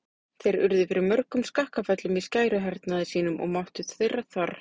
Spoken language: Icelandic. Þeir urðu fyrir mörgum skakkaföllum í skæruhernaði sínum og máttur þeirra þvarr.